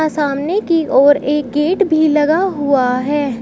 सामने की ओर एक गेट भी लगा हुआ है।